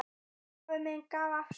Afi minn gaf af sér.